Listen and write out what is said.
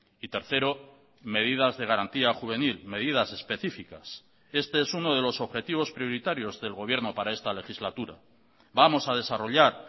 y tercero medidas de garantía juvenil medidas específicas este es uno de los objetivos prioritarios del gobierno para esta legislatura vamos a desarrollar